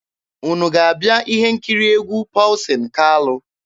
Unu ga-abịa ihe nkiri egwu Pọlsin Kalụ?